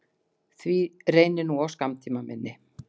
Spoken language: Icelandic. Því reynir nú á skammtímaminni.